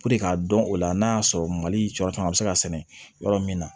k'a dɔn o la n'a y'a sɔrɔ mali cɔɔrɔ caman bɛ se ka sɛnɛ yɔrɔ min na